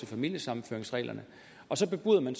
familiesammenføringsreglerne og så bebuder man